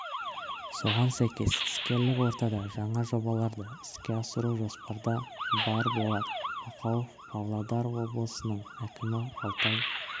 соған сәйкес іскерлік ортада жаңа жобаларды іске асыру жоспарда бар болат бақауов павлодар облысының әкімі алтай